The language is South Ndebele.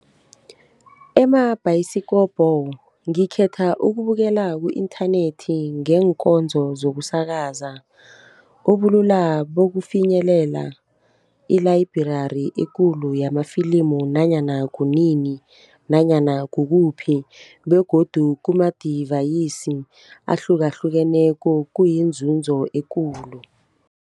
Emabhayisikopo ngikhetha ukubukela ku-inthanethi ngeenkonzo zokusakaza. Ubulula bokufinyelela i-library ekulu yamafilimu nanyana kunini, nanyana kukuphi? begodu kumadivayisi ahlukahlukeneko kuyinzunzo ekulu.